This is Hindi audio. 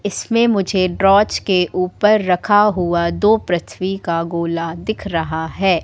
इसमें मुझे ड्राच के ऊपर रखा हुआ दो पृथ्वी का गोला दिख रहा है।